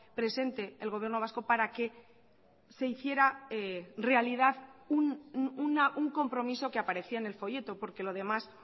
presente el gobierno vasco para que se hiciera realidad un compromiso que aparecía en el folleto porque lo demás